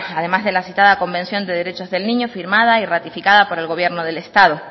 además de la citada convención de derechos del niño firmada y ratificada por el gobierno del estado